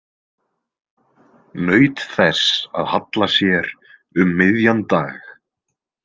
Naut þess að halla sér um miðjan dag.